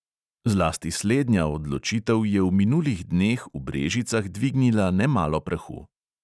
Zlasti slednja odločitev je v minulih dneh v brežicah dvignila nemalo prahu.